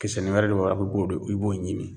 Kisɛni wɛrɛ de bɔra ko k'o de i b'o ɲimi